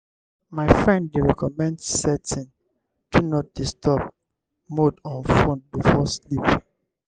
my friend dey recommend setting "do not disturb" mode on phone before sleep.